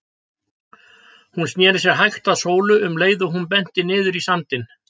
Hún sneri sér hægt að Sólu um leið og hún benti niður í sandinn.